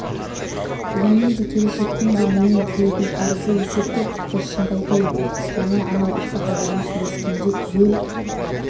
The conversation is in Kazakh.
бүгіннің де ке-лешектің де менен тілейтін қарызы есепті тіпті шынды айтайын жаңа анау ақсақалдармен сөйлескенде түгел